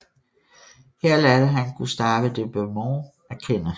Her lærte han Gustave de Beaumont at kende